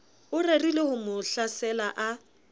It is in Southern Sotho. o rerileho mo hlasela a